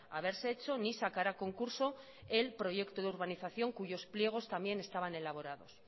haberse hecho ni sacar a concurso el proyecto de urbanización cuyos pliegos también estaban elaborados